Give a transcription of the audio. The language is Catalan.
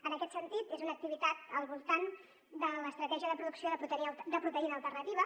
en aquest sentit és una activitat al voltant de l’estratègia de producció de proteïna alternativa